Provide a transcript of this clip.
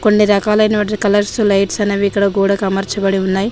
కొన్ని రకాలైన colours lights అనేవి ఇక్కడ గోడకు అమర్చబడి ఉన్నాయి.